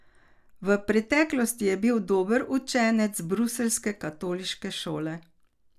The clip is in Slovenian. V preteklosti je bil dober učenec bruseljske katoliške šole.